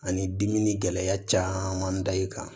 Ani dimi gɛlɛya caman da i kan